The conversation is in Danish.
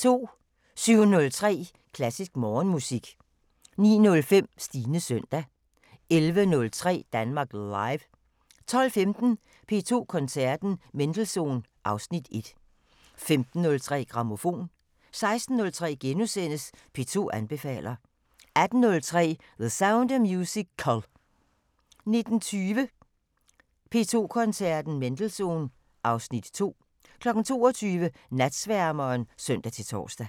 07:03: Klassisk Morgenmusik 09:05: Stines søndag 11:03: Danmark Live 12:15: P2 Koncerten – Mendelssohn (Afs. 1) 15:03: Grammofon 16:03: P2 anbefaler * 18:03: The Sound of Musical 19:20: P2 Koncerten – Mendelssohn (Afs. 2) 22:00: Natsværmeren (søn-tor)